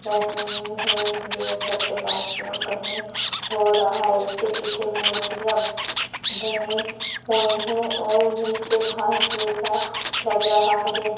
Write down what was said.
रहे है यह भरतनाट्यम कहीं हो रहा है इसके पीछे मूर्तियां बनी हुई है और नीचे घास जैसा लग रहा है।